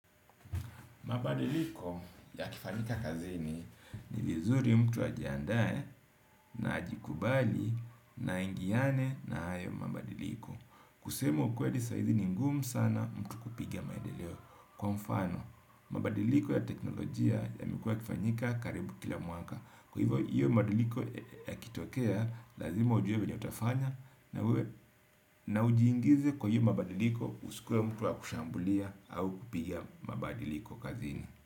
Mabadiliko ya kifanyika kazini ni vizuri mtu ajiandae na ajikubali na aingiane na hayo mabadiliko. Kusema ukweli saizi ni ngumu sana mtu kupiga maendeleo. Kwa mfano, mabadiliko ya teknolojia ya yamekuwa yakifanyika karibu kila mwaka. Kwa hivyo hiyo mabadiliko ya kitokea, lazima ujuewe vile utafanya na ujiingize kwa hiyo mabadiliko usikue mtu wa kushambulia au kupiga mabadiliko kazini.